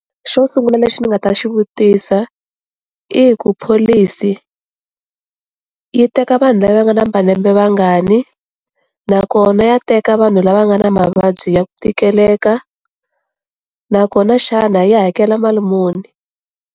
Xo sungula lexi ni nga ta xi vutisa i ku pholisi yi teka vanhu lava nga na malembe mangani nakona ya teka vanhu lava nga na mavabyi ya ku tikeleka nakona xana yi hakela mali muni.